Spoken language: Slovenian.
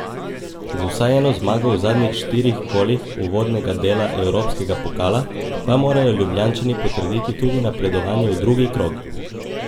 Z vsaj eno zmago v zadnjih štirih kolih uvodnega dela evropskega pokala pa morajo Ljubljančani potrditi tudi napredovanje v drugi krog.